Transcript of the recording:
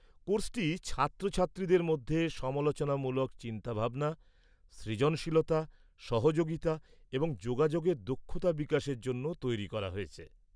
কোর্সটি ছাত্রছাত্রীদের মধ্যে সমালোচনামূলক চিন্তাভাবনা, সৃজনশীলতা, সহযোগিতা এবং যোগাযোগের দক্ষতা বিকাশের জন্য তৈরি করা হয়েছে।